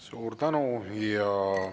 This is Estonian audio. Suur tänu!